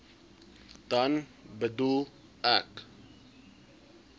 dan bedoel ek